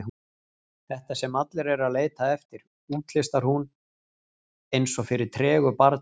Þetta sem allir eru að leita eftir, útlistar hún eins og fyrir tregu barni.